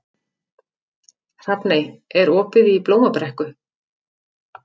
Hrafney, er opið í Blómabrekku?